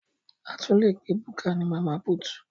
A tún lè pe búkà ní Mama put